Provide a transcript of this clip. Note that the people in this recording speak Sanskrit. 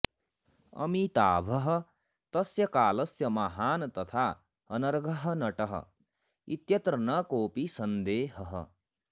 अमिताभः तस्य कालस्य महान् तथा अनर्घः नटः इत्यत्र न कोऽपि सन्देहः